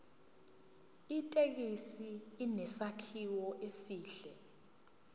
ithekisi inesakhiwo esihle